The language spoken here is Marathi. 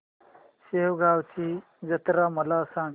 शेगांवची जत्रा मला सांग